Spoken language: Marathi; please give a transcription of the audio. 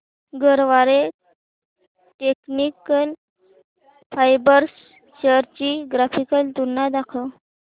गरवारे टेक्निकल फायबर्स शेअर्स ची ग्राफिकल तुलना दाखव